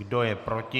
Kdo je proti?